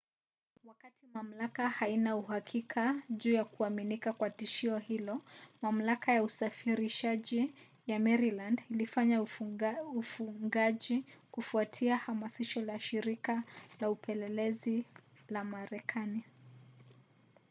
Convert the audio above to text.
wakati mamlaka haina uhakika juu ya kuaminika kwa tishio hilo mamlaka ya usafirishaji ya maryland ilifanya ufungaji kufuatia hamasisho la shirika la upelelezi la marekani